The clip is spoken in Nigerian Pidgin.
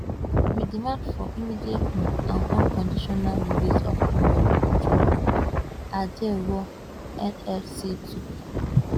we demand for di immediate um and unconditional release of comrade joe ajaero nlc tok